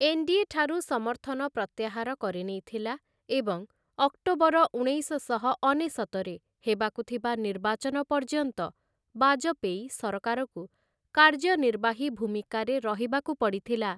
NDA. ଠାରୁ ସମର୍ଥନ ପ୍ରତ୍ୟାହାର କରିନେଇଥିଲା ଏବଂ ଅକ୍ଟୋବର, ଉଣେଇଶଶହ ଅନେଶତରେ ହେବାକୁ ଥିବା ନିର୍ବାଚନ ପର୍ଯ୍ୟନ୍ତ, ବାଜପେୟୀ ସରକାରକୁ କାର୍ଯ୍ୟନିର୍ବାହୀ ଭୂମିକାରେ ରହିବାକୁ ପଡ଼ିଥିଲା ।